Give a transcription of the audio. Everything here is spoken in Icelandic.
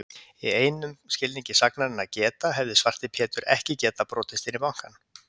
Í einum skilningi sagnarinnar að geta, hefði Svarti Pétur ekki getað brotist inn í bankann.